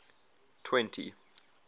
twenty